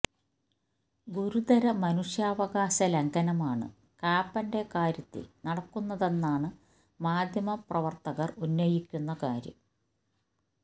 ഗുരുതര മനുഷ്യാവകാശ ലംഘനമാണ് കാപ്പന്റെ കാര്യത്തിൽ നടക്കുന്നതെന്നാണ് മാധ്യമ പ്രവർത്തകർ ഉന്നയിക്കുന്ന കാര്യം